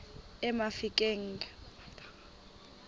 emafikeng